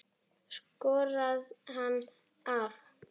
Skorðar hann af.